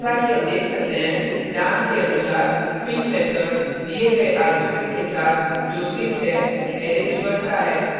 जैसा कि हम देख सकते हैं name के अनुसार fill method दिए गए argument के साथ जो 6 है अरैज भरता है